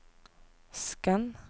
skann